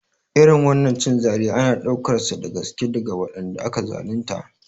Irin wannan cin zalin ana ɗaukarsa da gaske daga waɗanda aka zalunta